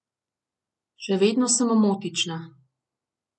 Še vedno sem omotična.